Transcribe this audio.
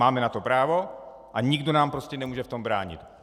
Máme na to právo a nikdo nám prostě nemůže v tom bránit.